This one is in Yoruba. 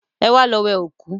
Ẹwà lọ wẹ òkú